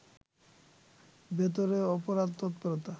ভেতরে অপরাধ তৎপরতা